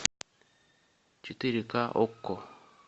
четыре ка окко